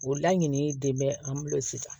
O laɲininen de bɛ an bolo sisan